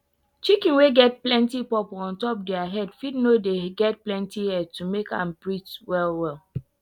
chicken wey get purple ontop dere head fit no dey get plenty air to make am breathe well well